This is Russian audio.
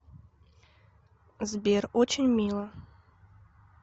сбер очень мило